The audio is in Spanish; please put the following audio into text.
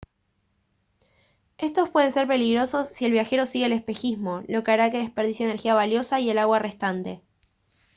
estos pueden ser peligrosos si el viajero sigue el espejismo lo que hará que desperdicie energía valiosa y el agua restante